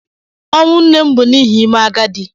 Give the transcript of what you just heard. Ọnwụ nne m bụ n'ihi ịme agadi